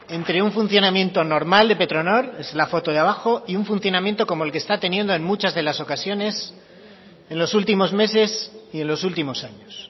entre un funcionamiento normal de petronor es la foto de abajo y un funcionamiento como el que está teniendo en muchas de las ocasiones en los últimos meses y en los últimos años